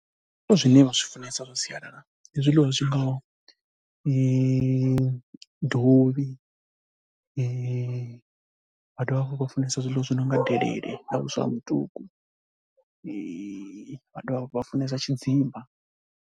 Zwiḽiwa zwine vha zwi funesa zwa sialala ndi zwiḽiwa zwi ngaho dovhi, vha dovha hafhu vha funesa zwiḽiwa zwi no nga delele na vhuswa ha mutuku, vha dovha hafhu vha funesa tshidzimba.